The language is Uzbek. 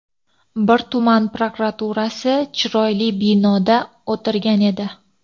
Bir tuman prokuraturasi chiroyli binoda o‘tirgan edi.